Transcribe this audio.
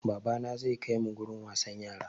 Babana zai kai mu wurin wasan yara.